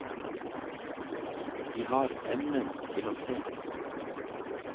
De har evnen til å se.